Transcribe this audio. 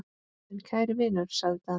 En kæri vinur, sagði Daði.